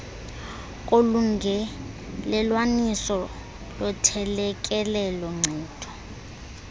kolungelelwaniso lothelekelelo nkcitho